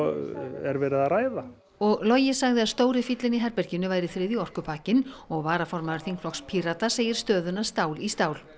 er verið að ræða og Logi sagði að stóri fíllinn í herberginu væri þriðji orkupakkinn og varaformaður þingflokks Pírata segir stöðuna stál í stál